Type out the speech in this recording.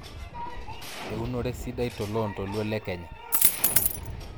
eunore sidai toloontoluo Le kenya